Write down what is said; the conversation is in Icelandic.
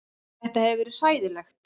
Þetta hefur verið hræðilegt